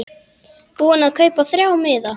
Búinn að kaupa þrjá miða.